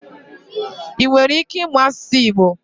I nwere ike ịmụ asụsụ Igbo?